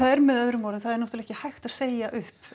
er með öðrum orðum náttúrulega ekki hægt að segja